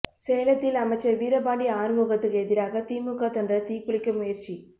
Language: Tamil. சேலத்தில் அமைச்சர் வீரபாண்டி ஆறுமுகத்துக்கு எதிராக திமுக தொண்டர் தீக்குளிக்க முயற்சி